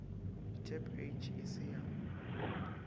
tab age e se ya